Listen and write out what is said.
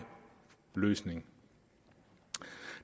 løsning